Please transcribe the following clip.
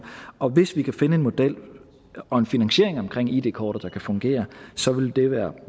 og hvis vi kan finde en model og en finansiering omkring id kortet der kan fungere så vil det være